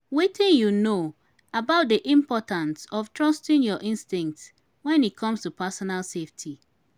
wetin you know about di importance of trusting your instincts when it comes to personal safety?